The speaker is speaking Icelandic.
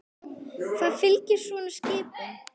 Hvað fylgir svo svona skipum?